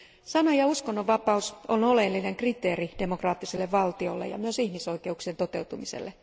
Sana ja uskonnonvapaus on oleellinen kriteeri demokraattiselle valtiolle ja myös ihmisoikeuksien toteutumiselle.